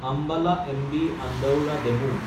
Ambala MB Andaura DEMU